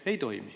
Ei toimi.